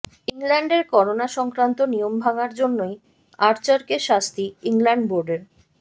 ইংল্যান্ডের করোনা সংক্রান্ত নিয়ম ভাঙার জন্যই আর্চারকে শাস্তি ইংল্যান্ড বোর্ডের